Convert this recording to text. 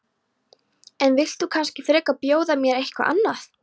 En þú vilt kannski frekar bjóða mér eitthvað annað?